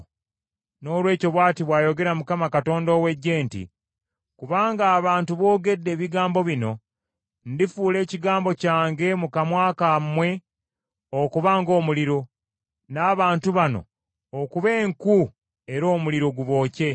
Noolwekyo bw’ati bw’ayogera Mukama , Katonda ow’Eggye nti, “Kubanga abantu boogedde ebigambo bino, ndifuula ekigambo kyange mu kamwa kammwe okuba ng’omuliro, n’abantu bano okuba enku era omuliro gubookye.